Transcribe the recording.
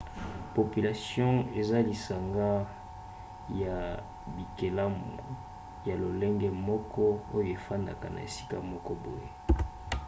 population eza lisanga ya bikelamu ya lolenge moko oyo efandaka na esika moko boye